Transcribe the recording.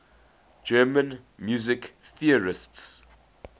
german music theorists